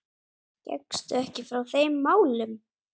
Gekkstu ekki frá þeim málum?